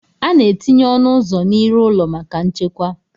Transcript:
A na-etinye ọnụ ụzọ n'iru ụlọ maka nchekwa